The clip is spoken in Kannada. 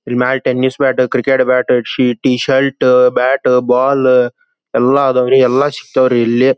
Remote tennis bat cricket bat T shirt bat ball ಎಲ್ಲಾ ಅದವರಿ ಎಲ್ಲಾ ಸಿಗತ್ತವರಿ ಇಲ್ಲಿ.